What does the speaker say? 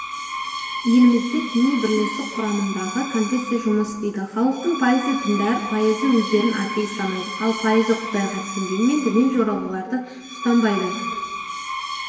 елімізде діни бірлестік құрамындағы конфессия жұмыс істейді халықтың пайызы діндар пайызы өздерін атеист санайды ал пайызы құдайға сенгенімен діни жоралғыларды ұстанбайды